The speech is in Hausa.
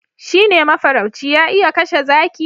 shi ne mafarauci ya iya kashe zaki